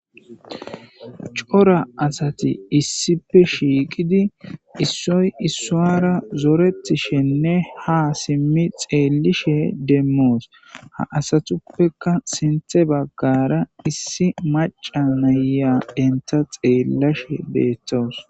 Cora asati issippe shiqqidi issoy issuwara zoorwtishshenne ha siimmi xellishe dishe deemmos asatuppekka sinththe baggara issi maca na'iya entta xellashe beetawus